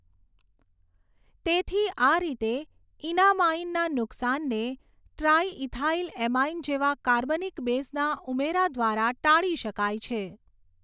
તેથી આ રીતે ઇનામાઇનના નુકસાનને ટ્રાયઈથાઇલએમાઇન જેવા કાર્બનિક બેઝના ઉમેરા દ્વારા ટાળી શકાય છે.